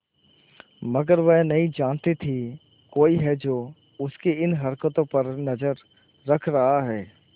मगर वह नहीं जानती थी कोई है जो उसकी इन हरकतों पर नजर रख रहा है